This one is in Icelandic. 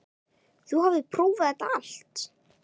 Þú hafðir prófað þetta allt.